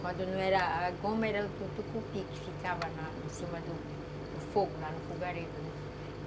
Quando não era... a goma era do tucupi, que ficava na, lá em cima do fogo, lá no fogareiro, né?